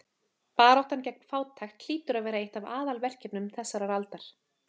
Baráttan gegn fátækt hlýtur að vera eitt af aðalverkefnum þessarar aldar.